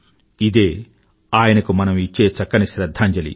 ఇదే ఆయనకు మనం ఇచ్చే చక్కని శ్రధ్ధాంజలి